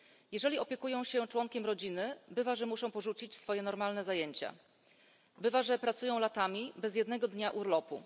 Jeżeli opiekują się członkiem rodziny, bywa, że muszą porzucić swoje normalne zajęcia, bywa, że pracują latami bez jednego dnia urlopu.